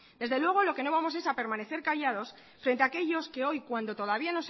desde luego lo que no vamos es a permanecer callados frente a aquellos que hoy cuando todavía